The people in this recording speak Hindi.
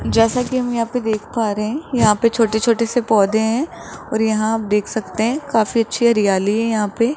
जैसा कि हम यहां पे देख पा रहे हैं यहां पे छोटे-छोटे से पौधे हैं और यहां आप देख सकते हैं काफी अच्छी हरियाली है यहां पे --